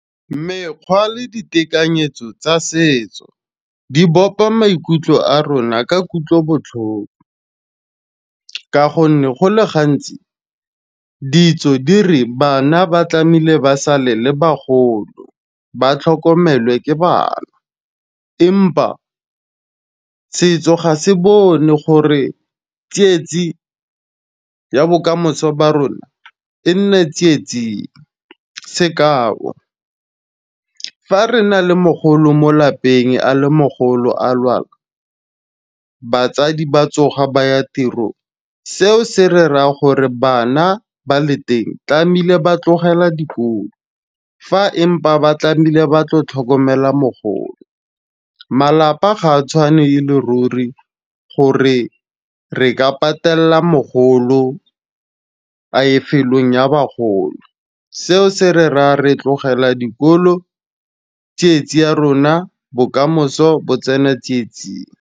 Mekgwa le ditekanyetso tsa setso di bopa maikutlo a rona ka kutlobotlhoko, ka gonne go le gantsi ditso di re bana ba tlameile ba sale le bagolo ba tlhokomele ke bana. Empa setso ga se bone gore tsietsi ya bokamoso ba rona e nne tsietsi, sekao fa re na le mogolo mo lapeng a le mogolo a lwala, batsadi ba tsoga baya tirong seo se re raa gore bana ba le teng tlameile ba tlogela dikolo. Fa empa ba tlameile ba tlo tlhokomela mogolo, malapa ga a tshwane e le ruri gore re ka patela mogolo a lefelong ya bagolo. Seo se re ra re tlogela dikolo tsietse ya rona bokamoso bo tsena tsietsing.